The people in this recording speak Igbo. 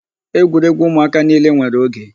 Egwuregwu ụmụaka niile nwere oge.